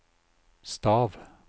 stav